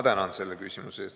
Tänan küsimuse eest!